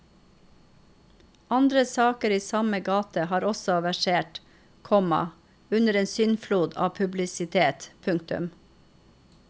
Andre saker i samme gate har også versert, komma under en syndflod av publisitet. punktum